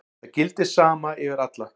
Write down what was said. Það gildir sama yfir alla.